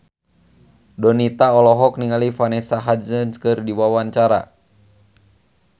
Donita olohok ningali Vanessa Hudgens keur diwawancara